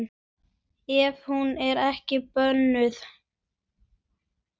Ef hún er ekki bönnuð.